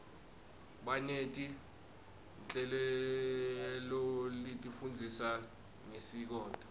baneti nhleloletifundzisa ngesikoto